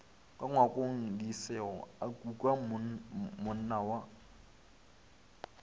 ka ngwakongdisego a kukamonna wa